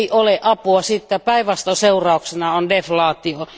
Ei ole apua, siitä päinvastoin seurauksena on deflaatio.